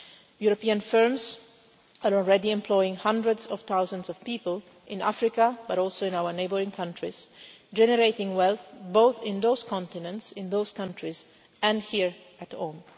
European firms are already employing hundreds of thousands of people, in Africa but also in our neighbouring countries, generating wealth both in those continents, in those countries, and here at home.